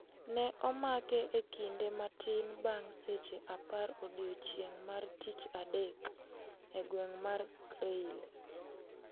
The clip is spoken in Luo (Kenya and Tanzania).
Ne omake e kinde matin bang' seche apar odiechieng mar tich a dek e gweng' mar Creil.